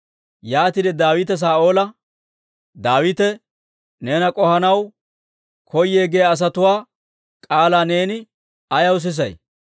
Yaatiide Daawite Saa'oola, «Daawite neena k'ohanaw koyee giyaa asatuwaa k'aalaa neeni ayaw sisay?